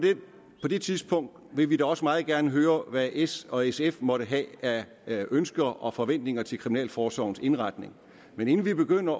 det tidspunkt vil vi da også meget gerne høre hvad s og sf måtte have af ønsker og forventninger til kriminalforsorgens indretning men inden vi begynder